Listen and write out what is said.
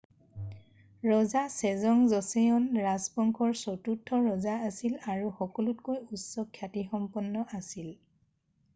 ৰজা Sejong Joseon ৰাজবংশৰ চতুৰ্থ ৰজা আছিল আৰু সকলোতকৈ উচ্চ খ্যাতিসম্পন্ন আছিল